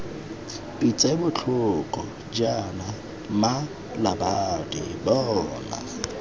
pitse botlhoko jaana mmalabadi bona